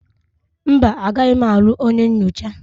Mba, agaghị m alụ onye nyocha